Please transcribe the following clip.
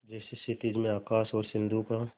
जैसे क्षितिज में आकाश और सिंधु का